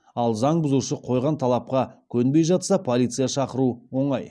ал заң бұзушы қойған талапқа көнбей жатса полиция шақыру оңай